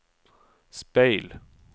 speil